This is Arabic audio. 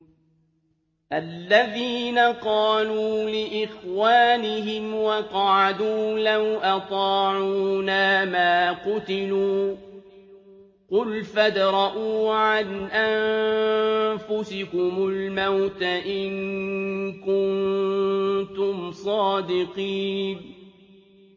الَّذِينَ قَالُوا لِإِخْوَانِهِمْ وَقَعَدُوا لَوْ أَطَاعُونَا مَا قُتِلُوا ۗ قُلْ فَادْرَءُوا عَنْ أَنفُسِكُمُ الْمَوْتَ إِن كُنتُمْ صَادِقِينَ